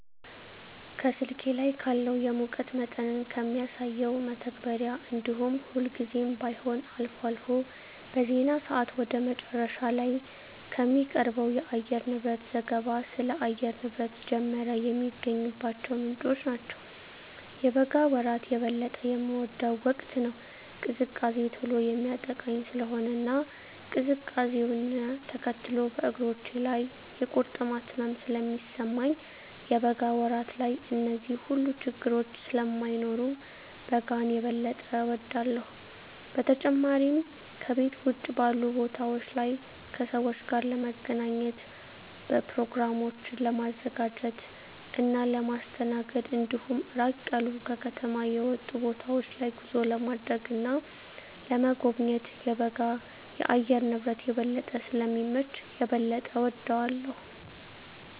ከስልኬ ላይ ካለው የሙቀት መጠንን ከሚያሳሰው መተግበሪያ እንዲሁም ሁልጊዜም ባይሆን አልፎ አልፎ በዜና ሰአት ወደ መጨረሻ ላይ ከሚቀርበው የአየርንብረት ዘገባ ስለ አየር ንብረት ጀመረ የሚገኝባቸው ምንጮች ናቸው። የበጋ ወራት የበለጠ የምወደው ወቅት ነው። ቅዝቃዜ ቶሎ የሚያጠቃኝ ስለሆነ እና ቅዝቃዜውነ ተከትሎ በእግሮቼ ላይ የቁርጥማት ህመም ስለሚሰማኝ የበጋ ወራት ላይ እነዚህ ሁሉ ችግረኞች ስለማይኖሩ በጋን የበጠ እወዳለሁ። በተጨማሪም ከቤት ውጭ ባሉ ቦታወች ላይ ከሰወች ጋር ለመገናኘት፣ በኘሮግራሞችን ለማዘጋጀት እና ለማስተናገድ እንዲሁም ራቅ ያሉ ከከተማ የወጡ ቦታወች ላይ ጉዞ ለማድረግ እና ለመጎብኘት የበጋ የአየር ንብረት የበለጠ ስለሚመች የበለጠ እወደዋለሁ።